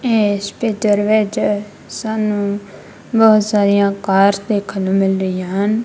Hospital ਵਿੱਚ ਸਾਨੂੰ ਬਹੁਤ ਸਾਰੀਆਂ ਕਾਰਸ ਦੇਖਨ ਨੂ ਮਿਲ ਰਹੀਆਂ ਹਨ।